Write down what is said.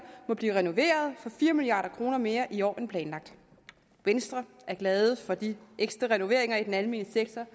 må blive renoveret for fire milliard kroner mere i år end planlagt venstre er glad for de ekstra renoveringer i den almene sektor